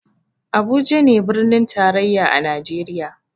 Abuja ne birnin tarayya a najeriya